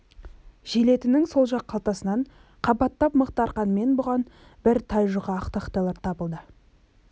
желетінің сол жақ қалтасынан қабаттап мықты арқанмен бұған бір тай жұқа ақ тақтайлар табылды